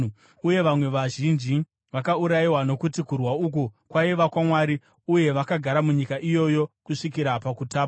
uye vamwe vazhinji vakaurayiwa nokuti kurwa uku kwaiva kwaMwari. Uye vakagara munyika iyoyi kusvikira pakutapwa.